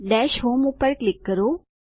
dash home પર click કરો